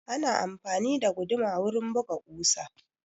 Ana amfani da guduma wurin buga ƙusa